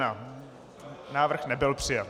Návrh nebyl přijat.